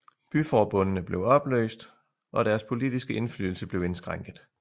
Byforbundene blev opløst og deres politiske indflydelse blev indskrænket